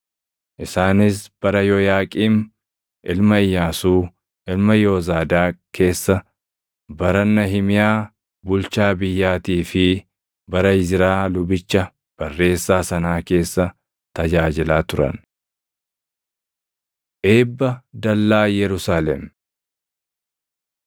Isaanis bara Yooyaaqiim ilma Iyyaasuu, ilma Yoozaadaaq keessa, bara Nahimiyaa bulchaa biyyaatii fi bara Izraa lubicha barreessaa sanaa keessa tajaajilaa turan. Eebba Dallaa Yerusaalem